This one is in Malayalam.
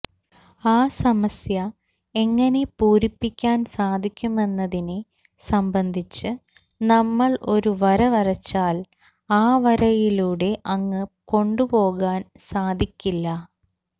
ആ സമസ്യ എങ്ങനെ പൂരിപ്പിക്കാൻ സാധിക്കുമെന്നതിനെ സംബന്ധിച്ച് നമ്മൾ ഒരു വര വരച്ചാൽ ആ വരയിലൂടെ അങ്ങ് കൊണ്ടുപോകാൻ സാധിക്കില്ല